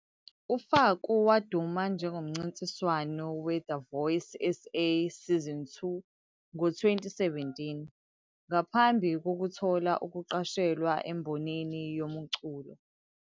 U-Faku waduma njengomncintiswano we-The Voice SA Season 2 ngo-2017, ngaphambi kokuthola ukuqashelwa embonini yomculo.